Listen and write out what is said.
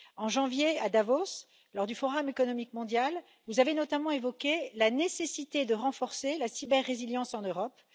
En janvier, à Davos, lors du Forum économique mondial, vous avez notamment évoqué la nécessité de renforcer la cyber résilience en Europe.